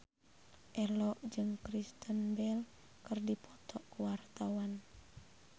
Ello jeung Kristen Bell keur dipoto ku wartawan